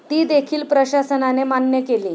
ती देखील प्रशासनाने मान्य केली.